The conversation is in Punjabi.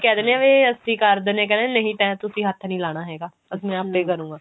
ਕਿਹ ਦਿੰਦੇ ਆ ਵੀ ਅਸੀਂ ਕਰ ਦਿੰਦੇ ਆ ਕਹਿੰਦਾ ਨਹੀਂ ਤੁਸੀਂ ਹੱਥ ਨੀ ਲਾਉਣਾ ਹੈਗਾ ਆਪਣੇ ਆਪੇ ਕਰੁੰਗਾ